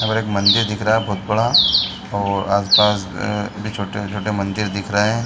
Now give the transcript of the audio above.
यहाँ पर एक मंदिर दिख रहा है बहोत बड़ा और आस-पास भी छोटे-छोटे मंदिर दिख रहे हैं ।